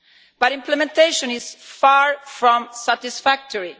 But implementation is far from satisfactory.